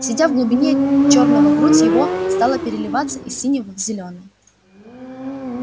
сидя в глубине чёрного грудь его стала переливать из синего в зелёный